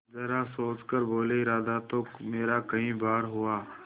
जरा सोच कर बोलेइरादा तो मेरा कई बार हुआ